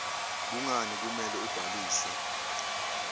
kungani kumele ubhalise